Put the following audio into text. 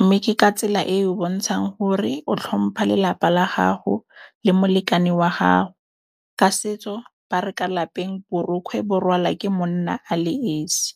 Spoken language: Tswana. Mme ke ka tsela e e bontshang gore o tlhompha lelapa la gago le molekane wa gago. Ka setso ba re ka lapeng borokgwe bo rwala ke monna a le esi.